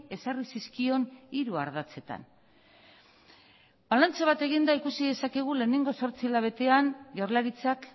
ezarri zizkion hiru ardatzetan balantze bat eginda ikusi dezakegu lehenengo zortzi hilabetean jaurlaritzak